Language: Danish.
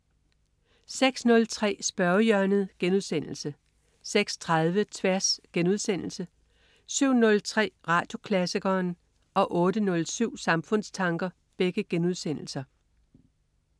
06.03 Spørgehjørnet* 06.30 Tværs* 07.03 Radioklassikeren* 08.07 Samfundstanker*